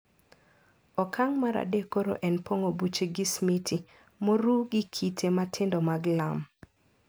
Okang` mar adek koro en pong`o buche gi smiti moruw gi kite matindo mag lam.